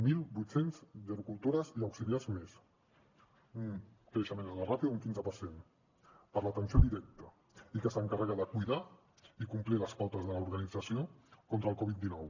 mil vuit cents gerocultores i auxiliars més un creixement en la ràtio d’un quinze per cent per l’atenció directa i que s’encarrega de cuidar i complir les pautes de l’organització contra el covid dinou